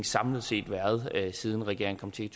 samlet set siden regeringen kom til i